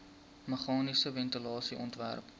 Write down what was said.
meganiese ventilasie ontwerp